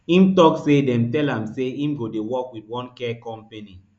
im tok say dem tell am say im go dey work wit one care company